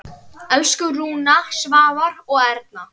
Elsku Rúna, Svavar og Erna.